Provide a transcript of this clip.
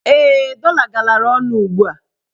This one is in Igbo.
Ee, dọla galara ọnụ ugbua.